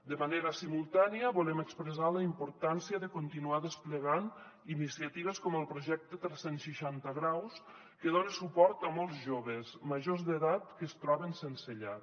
de manera simultània volem expressar la importància de continuar desplegant iniciatives com el projecte tres cents i seixanta° que dona suport a molts joves majors d’edat que es troben sense llar